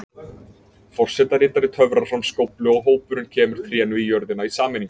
Forsetaritari töfrar fram skóflu og hópurinn kemur trénu í jörðina í sameiningu.